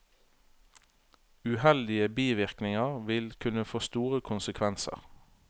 Uheldige bivirkninger vil kunne få store konsekvenser.